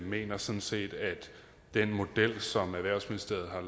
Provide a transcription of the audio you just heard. mener sådan set at den model som erhvervsministeriet har